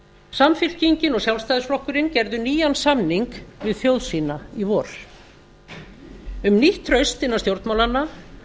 samfylkingin og sjálfstæðisflokkurinn gerðu nýjan samning við þjóð sína í vor um nýtt traust innan stjórnmálanna